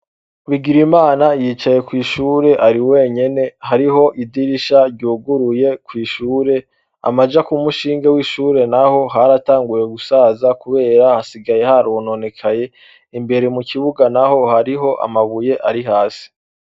Bigirimana yicaye kwishure ari wenyene hariho idirisha ryuguruye kwishure amaja yo kumushinge wishure naho haratanguye gusaza kubera hasigaye harononekaye imbere mukibuga naho hariho amabuye ari hasi